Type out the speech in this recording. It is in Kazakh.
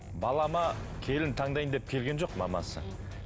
балама келін таңдаймын деп келген жоқ мамасы